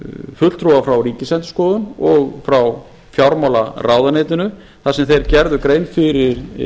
fulltrúa frá ríkisendurskoðun og frá fjármálaráðuneytinu þar sem þeir gerðu grein fyrir